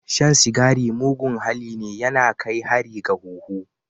Shan cigari mugun halli ne, ya na kai hari ga huhu.